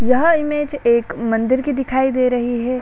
यह इमेज एक मंदिर की दिखाई दे रही है।